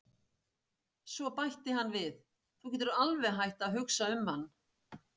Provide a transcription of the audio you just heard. Svo bætti hann við: Þú getur alveg hætt að hugsa um hann